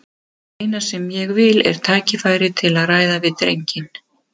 Það eina sem ég vil er tækifæri til að ræða við drenginn.